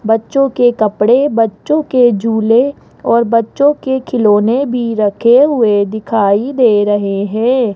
बच्चों के कपड़े बच्चों के झूले और बच्चों के खिलौने भी रखे हुए दिखाई दे रहे हैं।